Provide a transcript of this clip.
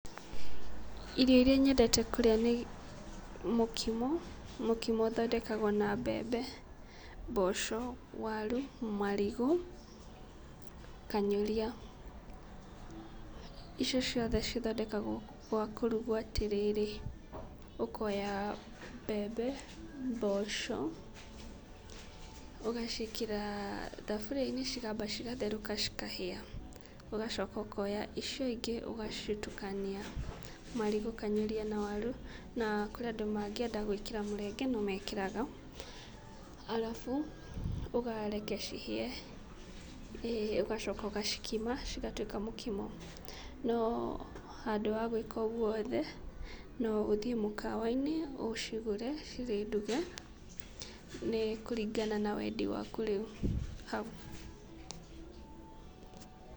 Irio iria nyendete kũrĩa nĩ mũkimo, mũkimo ũthondekagwo na mbembe, mboco, waru, marigũ, kanyũria. Icio ciothe ithondekagwo gwa kũrugwo atĩrĩrĩ, ũkoya mbembe, mboco ũgaciĩkĩra thaburia-inĩ cikamba cigatherũka cikahĩa. Ũgacoka ũkoya icio ingĩ ũgacitukania, marigũ, kanyũria na waru. Kũrĩ andũ mangĩenda gwĩkĩra mũrenge no mekĩraga. Arabu ũgareke cihĩe ũgacoka ũgacikima cigatuĩka mũkimo. No handũ ha gwĩka ũguo wothe no ũthiĩ mũkawa -inĩ ũcigũre cirĩ nduge. Nĩ kũringana na wendi waku rĩu hau.